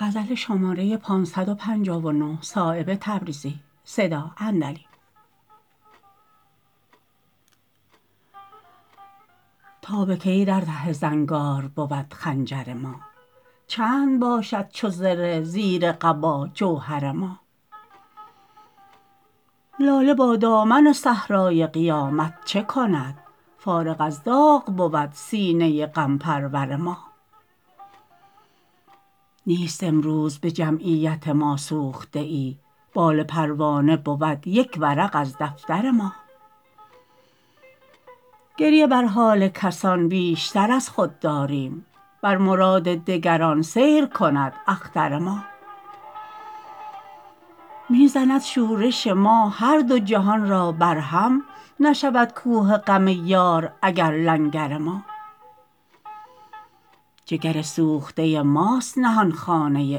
تا به کی در ته زنگار بود خنجر ما چند باشد چو زره زیر قبا جوهر ما لاله با دامن صحرای قیامت چه کند فارغ از داغ بود سینه غم پرور ما نیست امروز به جمعیت ما سوخته ای بال پروانه بود یک ورق از دفتر ما گریه بر حال کسان بیشتر از خود داریم بر مراد دگران سیر کند اختر ما می زند شورش ما هر دو جهان را بر هم نشود کوه غم یار اگر لنگر ما جگر سوخته ماست نهانخانه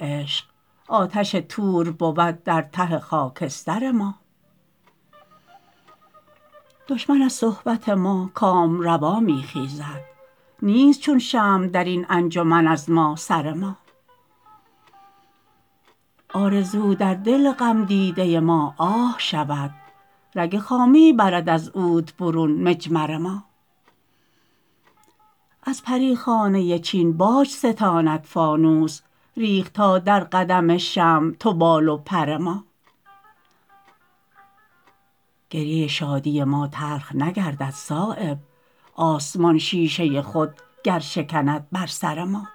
عشق آتش طور بود در ته خاکستر ما دشمن از صحبت ما کامروا می خیزد نیست چون شمع درین انجمن از ما سر ما آرزو در دل غم دیده ما آه شود رگ خامی برد از عود برون مجمر ما از پریخانه چین باج ستاند فانوس ریخت تا در قدم شمع تو بال و پر ما گریه شادی ما تلخ نگردد صایب آسمان شیشه خود گر شکند بر سر ما